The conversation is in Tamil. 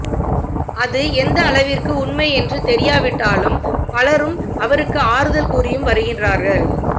அது எந்த அளவிற்கு உண்மை என்று தெரியாவிட்டாலும் பலரும் அவருக்கு ஆறுதல் கூறியும் வருகிறார்கள்